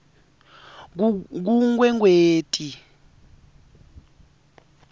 kunkwekweti